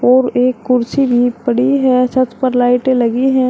और एक कुर्सी भी पड़ी है छत पर लाइटें लगी है।